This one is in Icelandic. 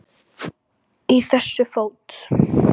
Í þessu fót